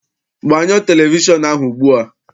Gbanyo televishọnụ ahụ ugbua!